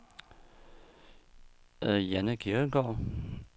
Jeanne Kirkegaard